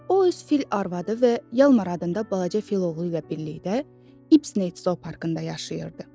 O öz fil arvadı və Yalmar adında balaca fil oğlu ilə birlikdə İbsney zooparkında yaşayırdı.